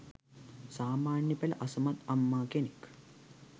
සාමාන්‍ය පෙළ අසමත් අම්මා කෙනෙක්